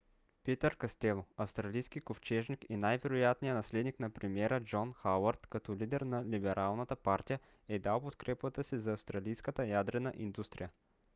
питър кастело австралийски ковчежник и най-вероятният наследник на премиера джон хауърд като лидер на либералната партия е дал подкрепата си за австралийската ядрена индустрия